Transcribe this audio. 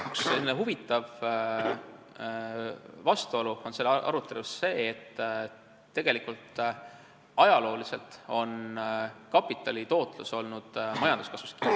Üks huvitav vastuolu selles arutelus on see, et ajalooliselt on kapitali tootlus olnud tegelikult majanduskasvus kinni.